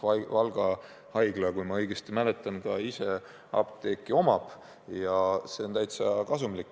Valga haigla, kui ma õigesti mäletan, omab ise apteeki ja see on täitsa kasumlik.